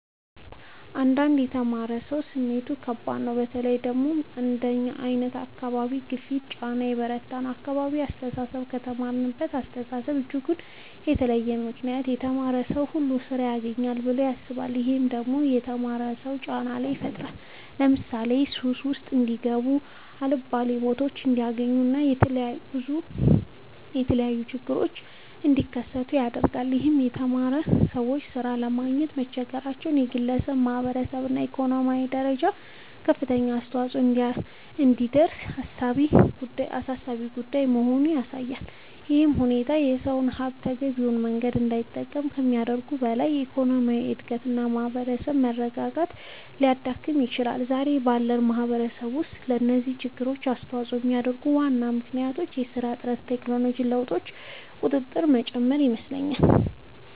አንዳንድ የተማረ ሰው ስሜቱ ከባድ ነው በተለይ ደግሞ አንደኛ አካባቢ ግፊቱና ጫና የበረታ ነው የአካባቢው አስተሳሰብ ከተማረሳው አስተሳሰብ እጅጉን የተለየ ነው ምክንያቱም የተማረ ሰው ሁሉ ስራ ያግኝ ብለው ያስባሉ። ይህም ደግሞ በተማሩ ሰዎች ላይ ጫና ይፈጥራል ለምሳሌ ሱስ ውስጥ እንዲጋቡ የአልባሌ ቦታዎች እንዲገኙ እና ብዙ የተለያዩ ችግሮች እንዲከሰቱ ያደርጋል ይህም የተማሩ ሰዎች ሥራ ለማግኘት መቸገራቸው በግለሰብ፣ በማህበረሰብ እና በኢኮኖሚ ደረጃ ከፍተኛ ተጽዕኖ የሚያሳድር አሳሳቢ ጉዳይ መሆኑን ያሳያል። ይህ ሁኔታ የሰው ሀብት በተገቢው መንገድ እንዳይጠቀም ከማድረጉም በላይ የኢኮኖሚ እድገትን እና የማህበራዊ መረጋጋትን ሊያዳክም ይችላል። ዛሬ ባለው ማህበረሰብ ውስጥ ለዚህ ችግር አስተዋጽኦ የሚያደርጉ ዋና ምክንያቶች የስራ እጥረት እና የቴክኖሎጂ ለውጦች ቁጥር መጨመር ይመስለኛል